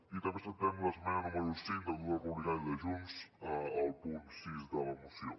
i també acceptem l’esmena número cinc del grup republicà i de junts al punt sis de la moció